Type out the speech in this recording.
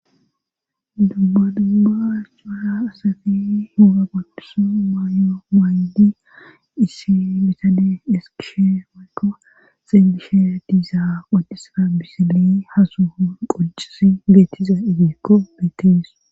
Dubba dubba acuuara asafi huura qodisa maayo maaydi isi bitade eskishe mayko xeelishe diiza qodisara bisili hasuhun qoccisi geetiza ibiikko beettees.